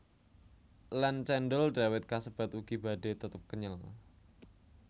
Lan cendhol dawet kasebat ugi badhe tetep kenyel